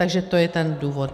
Takže to je ten důvod.